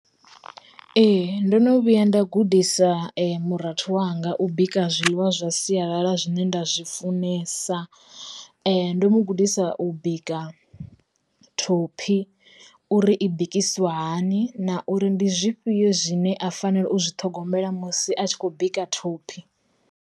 Ee, ndo no vhuya nda gudisa murathu wanga u bika zwiḽiwa zwa sialala zwine nda zwi funesa, ndo mu gudisa u bika thophi uri i bikisiwa hani na uri ndi zwifhio zwine a fanela u zwi ṱhogomela musi a tshi khou bika thophi.